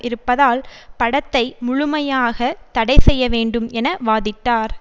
இருப்பதால் படத்தை முழுமையாக தடை செய்யவேண்டும் என வாதிட்டார்